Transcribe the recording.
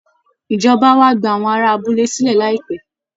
Ìjọba á wá gba àwọn ará abúlé sílẹ̀ láìpẹ́